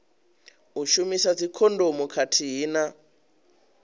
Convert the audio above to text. u shumisa dzikhondomu khathihi na